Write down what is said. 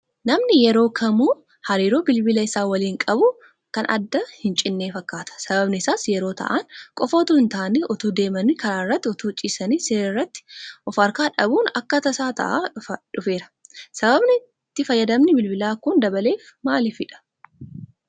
Namni yeroo kamuu hariiroon bilbila isaa waliin qabu kan addaan hincinne fakkaata. Sababni isaas yeroo taa'an qofa utuu hintaane, utuu deemanii karaa irratti, utuu ciisanii Siree irratti of harkaa dhabuun akka tasaa ta'aa dhufeera. Sababni itti fayyadamni Bilbilaa kun dabaleef maaliifidha?